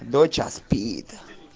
доча спит